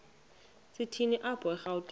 shini apho erawutini